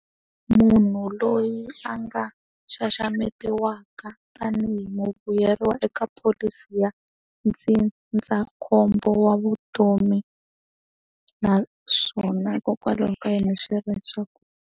Munhu loyi a nga xaxametiwaka tanihi muvuyeriwa eka pholisi ya ndzindzakhombo wa vutomi naswona hikokwalaho ka yini swi ri swa ku.